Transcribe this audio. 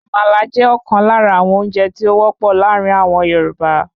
Àmàlà jẹ́ ọ̀kan lára àwọn oúnjẹ tí o wọ́pọ̀ láàrin àwọn Yorùbá